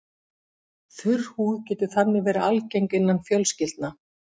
Þurr húð getur þannig verið algeng innan fjölskyldna.